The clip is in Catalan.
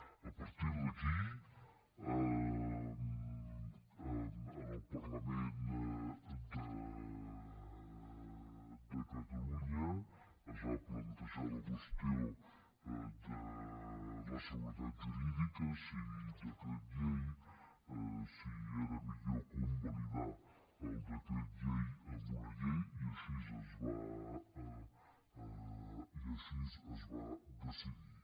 a partir d’aquí en el parlament de catalunya es va plantejar la qüestió de la seguretat jurídica si decret llei si era millor convalidar el decret llei amb una llei i així es va decidir